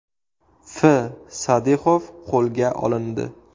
F. Sadixov qo‘lga olindi.